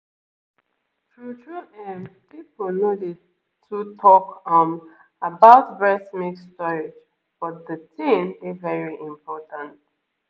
true-true ehm people no dey too talk um about breast milk storage but the thing dey very important